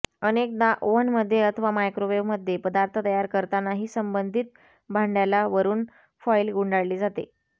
अनेकदा ओव्हन मध्ये अथवा मायक्रोव्हेव मध्ये पदार्थ तयार करतानाही संबंधित भांड्याला वरून फॉईल गुंडाळली जाते